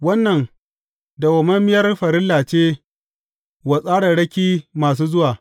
Wannan dawwammamiyar farilla ce wa tsararraki masu zuwa.